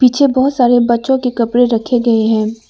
पीछे बहोत सारे बच्चों के कपड़े रखे गए हैं।